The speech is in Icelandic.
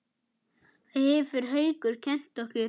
Það hefur Haukur kennt okkur.